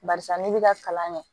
Barisa ne bi ka kalan kɛ